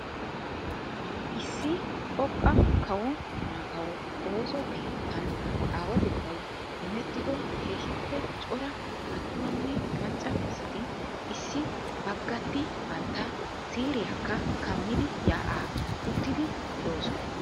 Issi xoqqa kawo maataawa ooso keettaan aawatettay immettido keehiipe cora atummanne macca asati issi baggati bantta siiriyakka kammidi yaa'aa ottiidi doosonna.